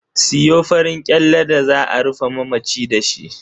Siyo farin kyalle da za a rufe mamaci dashi.